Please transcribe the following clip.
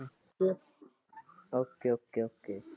Okay Okay Okay